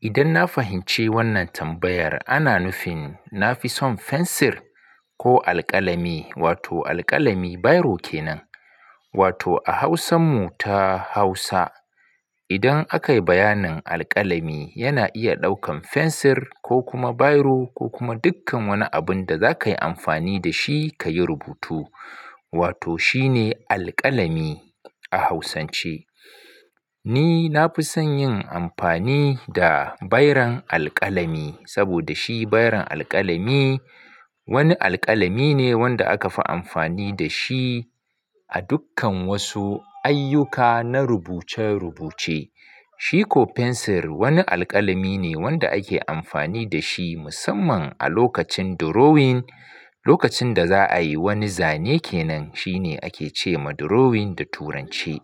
Idan na fahimci wannan tambayar ana nufin na fi son fensir ko alƙalami, wato alƙalami biro kenan. Wato a Hausan mu ta Hausa, idan akayi bayanin alƙalami yana iya ɗaukan fensir ko kuma biro ko kuma dukkan wani abun da za ka yi amfani da shi ka yi rubutu. Wato shi ne alƙalami a Hausance. Ni na fi son yin amfani da biron alƙalami saboda shi biron alƙalami wani alƙalami ne wanda aka fi amfani da shi a dukkan wasu ayyuka na rubuce-rubuce. Shi ko fensir wani alƙalami ne wanda ake amfani da shi musamman a lokacin drawing. Lokacin da za a yi wani zane kenan shi ne ake ce ma drawing da Turanci.